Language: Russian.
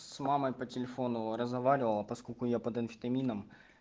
с мамой по телефону разговаривала поскольку я под амфетамином